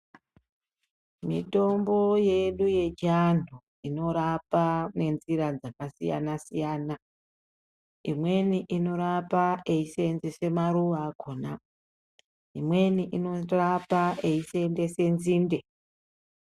Mitombo yedu yechiantu inorapa nenzira dzakasiyana siyana. Imweni inorapa eiseenzese maruwa akona, imweni inorapa eiseenzese nzinde.